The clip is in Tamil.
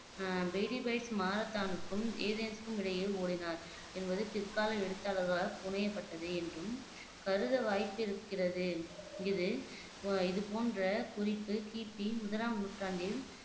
ஆஹ் பெய்டிபைட்ஸ் ஏதென்சுக்கும் மாரத்தானுக்கும் இடையில் ஓடினார் என்பது பிற்கால எழுத்தாளர்களால் புனையப்பட்டது என்றும் கருத வாய்ப்பு இருக்கிறது இது அஹ் இது போன்ற குறிப்பு கிபி முதலாம் நூற்றாண்டில்